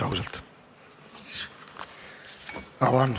Ausalt või?